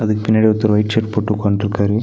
பின்னாடி ஒருத்தர் white shirt போட்டு உட்காண்டுருக்காரு.